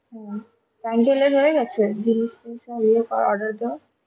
হম pandel-এর হয়ে গেছে জিনিষ টিনিস গুলো সব ইয়ে করা order দেওয়া?